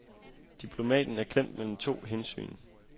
Diplomaten er klemt mellem to hensyn.